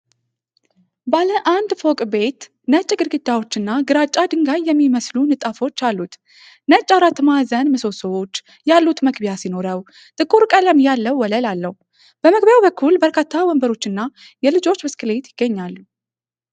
ባለ አንድ ፎቅ ቤት ነጭ ግድግዳዎችና ግራጫ ድንጋይ የሚመስሉ ንጣፎች አሉት:: ነጭ አራት ማዕዘን ምሰሶዎች ያሉት መግቢያ ሲኖረው፣ ጥቁር ቀለም ያለው ወለል አለው:: በመግቢያው በኩል በርካታ ወንበሮችና የልጆች ብስክሌት ይገኛሉ::